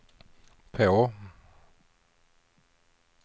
på